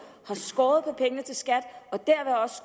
har skåret i pengene til skat